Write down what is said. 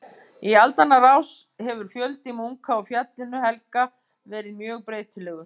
Í aldanna rás hefur fjöldi munka á Fjallinu helga verið mjög breytilegur.